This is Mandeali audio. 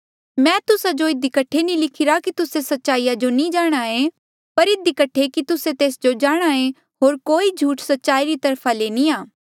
मैं तुस्सा जो इधी कठे नी लिखिरा कि तुस्से सच्चाईया जो नी जाणहां ऐें पर इधी कठे की तुस्से तेस जो जाणहां ऐें होर कोई झूठ सच्चाई री तरफा ले नी आ